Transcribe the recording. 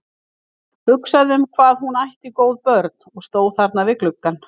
Hugsaði um hvað hún ætti góð börn, og stóð þarna við gluggann.